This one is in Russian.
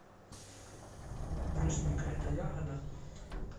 брусника это ягода